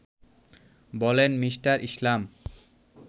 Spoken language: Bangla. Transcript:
বলেন মি. ইসলাম